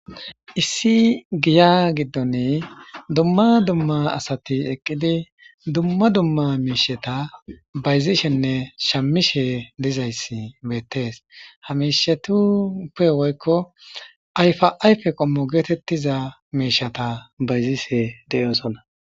Issi giya giddon dumma dumma asati eqqidi dumma dumma miisheta bayzishenne shamishe dizayssi bettees hamishetuppe woykko ayfaayfe qommo geetettiza miishata bayzishe de'oosonna.